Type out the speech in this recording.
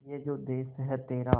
ये जो देस है तेरा